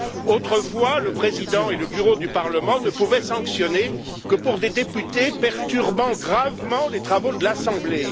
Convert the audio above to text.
Autrefois, le Président et le Bureau du Parlement ne pouvaient sanctionner que pour des députés perturbant gravement les travaux de l'assemblée.